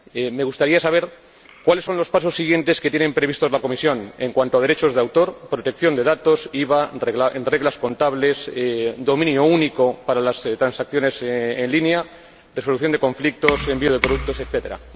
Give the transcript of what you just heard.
Me gustaría saber cuáles son los pasos siguientes que tiene previstos la Comisión en cuanto a derechos de autor, protección de datos, IVA, reglas contables, dominio único para las transacciones en línea, resolución de conflictos, envío de productos, etcétera.